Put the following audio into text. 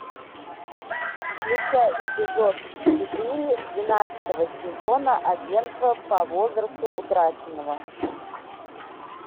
включай эпизод четыре двенадцатого сезона агентство по возврасту утраченного